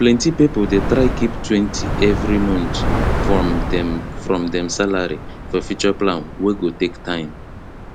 plenty people dey try keeptwentyevery month from dem from dem salary for future plan wey go take time